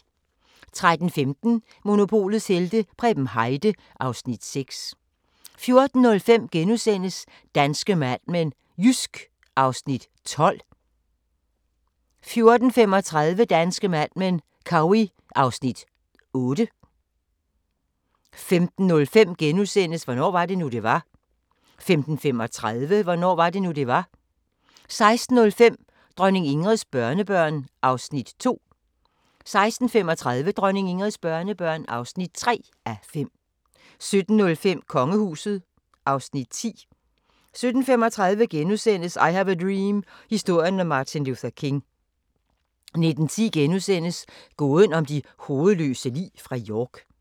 13:15: Monopolets helte - Preben Heide (Afs. 6) 14:05: Danske Mad Men: Jysk (Afs. 12)* 14:35: Danske Mad Men: Cowey (Afs. 8) 15:05: Hvornår var det nu, det var? * 15:35: Hvornår var det nu, det var? 16:05: Dronning Ingrids børnebørn (2:5)* 16:35: Dronning Ingrids børnebørn (3:5) 17:05: Kongehuset (Afs. 10) 17:35: I have a dream – historien om Martin Luther King * 19:10: Gåden om de hovedløse lig fra York *